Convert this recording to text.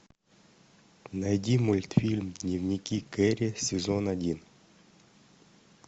найди мультфильм дневники кэрри сезон один